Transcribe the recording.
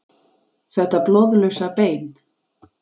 Þetta blóðlausa bein.